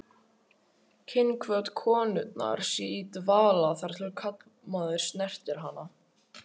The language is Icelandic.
Kynhvöt konunnar sé í dvala þar til karlmaður snertir hana.